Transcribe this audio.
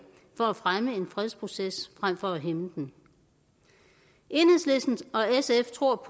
for at fremme en fredsproces frem for at hæmme den enhedslisten og sf tror